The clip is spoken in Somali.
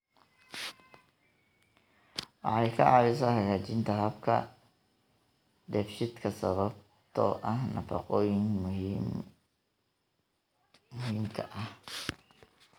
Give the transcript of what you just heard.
Waxay ka caawisaa hagaajinta habka dheefshiidka sababtoo ah nafaqooyinka muhiimka ah.